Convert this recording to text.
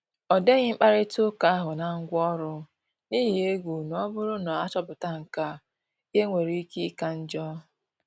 Ọdeghi mkparịta uka ahụ na ngwaọrụ, n’ihi egwu na ọ bụrụ na achoputa nkea, ihe nwere ike ịka njọ